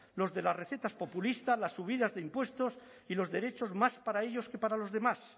los de las recetas populistas las subidas de impuestos y los derechos más para ellos que para los demás